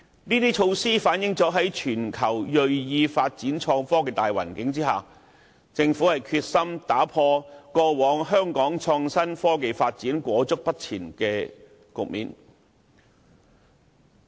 這些措施均反映政府在全球銳意發展創科的大形勢下，決心打破過往香港創新科技發展停滯不前的局面。